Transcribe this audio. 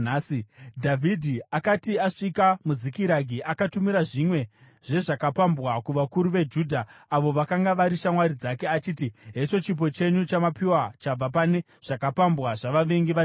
Dhavhidhi akati asvika muZikiragi, akatumira zvimwe zvezvakapambwa kuvakuru veJudha, avo vakanga vari shamwari dzake, achiti, “Hecho chipo chenyu chamapiwa chabva pane zvakapambwa zvavavengi vaJehovha.”